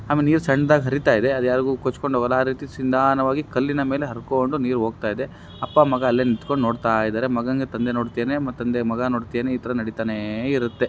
ಆಮೇಲೆ ನೀರು ಸಣ್ಣದಾಗಿ ಹರಿತಾ ಇದೆ ಯಾರು ಯಾರು ಗೊತ್ತುಂಟು ಹೋಗಲ್ಲ ಆ ರೀತಿ ನಿಧಾನವಾಗಿ ಕಲ್ಲಿನ ಮೇಲೆ ಹರಿದುಕೊಂಡು ಹೋಗ್ತಿದ್ದೆ ಅಪ್ಪ ಮಗ ಅಲ್ಲೇ ನಿಂತ್ಕೊಂಡು ನೋಡ್ತಾ ಇದ್ದಾರೆ ಮಗನಿಗೆ ತಂದೆ ನೋಡ್ತಾ ಇದ್ದಾನೆ ತಂದೆ ಮಗ ನೋಡ್ತಾ ಇದ್ದಾನೆ ಇತರ ನಡೀತಾನೆ ಇರುತ್ತೆ.